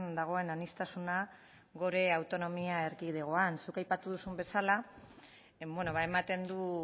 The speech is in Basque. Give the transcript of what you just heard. dagoen aniztasuna gure autonomia erkidegoan zuk aipatu duzun bezala ematen du